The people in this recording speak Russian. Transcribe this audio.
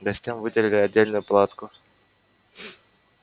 гостям выделили отдельную палатку